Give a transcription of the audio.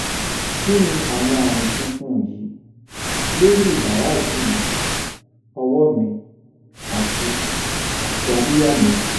kí ni àwọn ami funfun yìí lórí ibaradi mi ọwọ́ mi àti àti abiya mi?